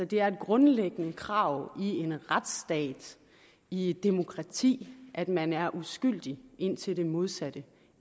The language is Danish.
det er et grundlæggende krav i en retsstat i et demokrati at man er uskyldig indtil det modsatte